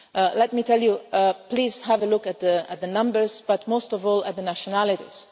route. Let me tell you, please have a look at the numbers but most of all at the nationalities.